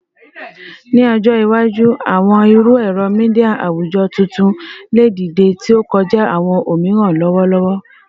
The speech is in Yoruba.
Ni ọjọ iwaju, awọn iru ẹrọ media awujọ tuntun le dide, ti o kọja awọn omiran lọwọlọwọ